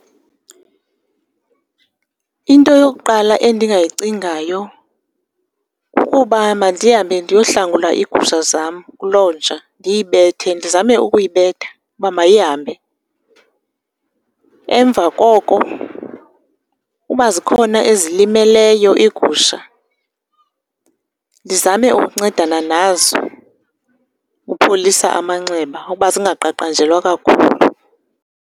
Into yokuqala endingayicingayo kukuba mandihambe ndiyohlangula iigusha zam kuloo nja, ndiyibethe ndizame ukuyibetha uba mayihambe. Emva koko uba zikhona ezilimeleyo iigusha ndizame ukuncedana nazo upholisa amanxeba uba zingaqaqanjelwa kakhulu.